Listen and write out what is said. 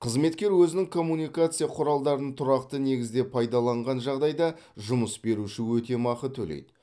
қызметкер өзінің коммуникация құралдарын тұрақты негізде пайдаланған жағдайда жұмыс беруші өтемақы төлейді